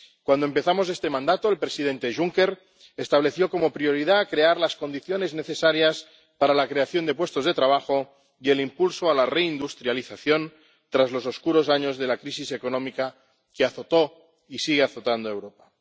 Cuando empezamos este mandato, el presidente Juncker estableció como prioridad crear las condiciones necesarias para la creación de puestos de trabajo y el impulso a la reindustrialización tras los oscuros años de la crisis económica que azotó y sigue azotando a Europa.